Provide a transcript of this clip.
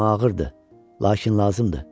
Bilirəm ağırdır, lakin lazımdır.